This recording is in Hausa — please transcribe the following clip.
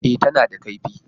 E, tana da kaifi.